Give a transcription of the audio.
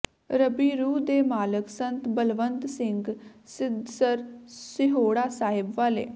ਰਬੀ ਰੂਹ ਦੇ ਮਾਲਕ ਸੰਤ ਬਲਵੰਤ ਸਿੰਘ ਸਿੱਧਸਰ ਸਿਹੋੜਾ ਸਾਹਿਬ ਵਾਲੇ